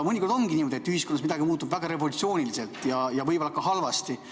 Mõnikord ongi niimoodi, et ühiskonnas midagi muutub väga revolutsiooniliselt ja võib-olla ka halvasti.